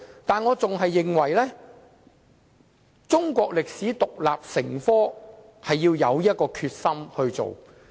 但是，我仍然認為，中史獨立成科需要有決心推動。